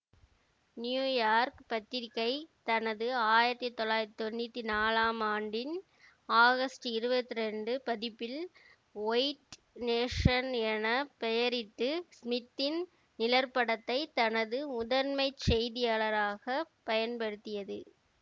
New York பத்திரிக்கை தனது ஆயிரத்தி தொள்ளாயிரத்தி தொன்னூத்தி நாலாம் ஆண்டின் ஆகஸ்ட் இருபத்தி இரண்டு பதிப்பில் ஒயிட் நேஷன் என பெயரிட்டு ஸ்மித்தின் நிழற்படத்தை தனது முதன்மை செய்தியாளராகப் பயன்படுத்தியது